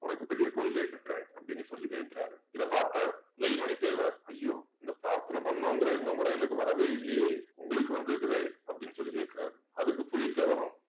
உனக்கு பெரிய கோயிலயே கட்டுறேன் அப்படின்னு சொல்லி வேண்டுறாரு இத பார்த்த வேல்மணி தேவர் ஐயோ இந்த பிரார்த்தனை பண்ணும்ங்கிற எண்ணம் கூட எனக்கு வரவே இல்லையே உங்களுக்கு வந்திருக்குதே அப்படின்னு சொல்லி கேக்குறாரு அதுக்கு புலித்தேவரும்